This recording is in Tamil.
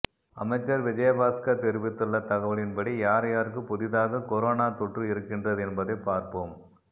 அமைச்சர் விஜயபாஸ்கர் தெரிவித்துள்ள தகவலின்படி யார் யாருக்கு புதிதாக கொரோனா தொற்று இருக்கின்றது என்பதைப் பார்ப்போம்